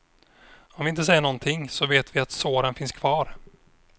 Om vi inte säger någonting, så vet vi att såren finns kvar.